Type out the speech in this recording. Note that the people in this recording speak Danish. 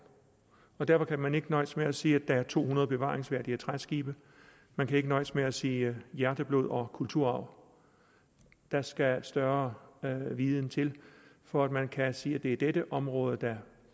derfor kan man ikke nøjes med at sige at der er to hundrede bevaringsværdige træskibe man kan ikke nøjes med at sige hjerteblod og kulturarv der skal større viden til for at man kan sige at det er dette område der